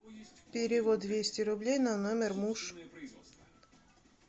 перевод двести рублей на номер муж